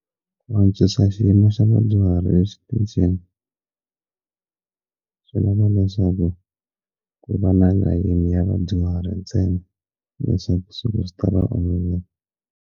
Ku antswisa xiyimo xa vadyuhari exitichini swi lava leswaku ku va na layini ya vadyuhari ntsena leswaku swi ta va olovela.